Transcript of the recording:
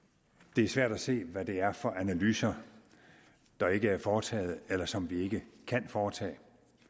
det er svært at se hvad det er for analyser der ikke er foretaget eller som vi ikke kan foretage